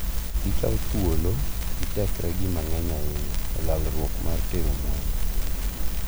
Gikawo thuolo gi tekre gi mang`eny ahinya e lalruok mar tero mwandu.